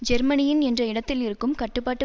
ஜெர்மனியின் என்ற இடத்தில் இருக்கும் கட்டுப்பாட்டு